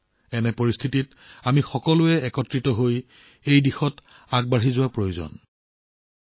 এনে পৰিস্থিতিত এই বিপদ চিৰদিনৰ বাবে শেষ হবলৈ হলে আমি সকলোৱে একত্ৰিত হৈ এই দিশত আগবাঢ়ি যোৱাটো প্ৰয়োজনীয়